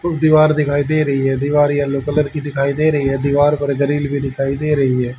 और दीवार दिखाई दे रही है दीवार येलो कलर की दिखाई दे रही है दीवार पर ग्रिल भी दिखाई दे रही है।